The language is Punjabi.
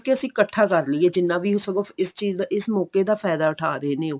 ਕੀ ਅਸੀਂ ਇਕੱਠਾ ਕਰ ਲੀਏ ਜਿੰਨਾ ਵੀ ਸਗੋਂ ਇਸ ਚੀਜ਼ ਦਾ ਇਸ ਮੋਕੇ ਦਾ ਫਾਇਦਾ ਉਠਾ ਰਹੇ ਨੇ ਉਹ